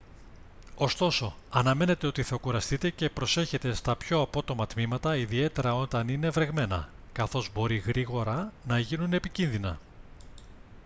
ωστόσο αναμένετε ότι θα κουραστείτε και προσέχετε στα πιο απότομα τμήματα ιδιαίτερα όταν είναι βρεγμένα καθώς μπορεί γρήγορα να γίνουν επικίνδυνα